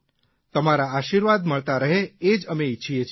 તમારા આશીર્વાદ મળતા રહે એ જ અમે ઇચ્છીએ છીએ